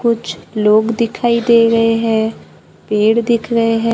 कुछ लोग दिखाई दे रहे हैं पेड़ दिख रहे--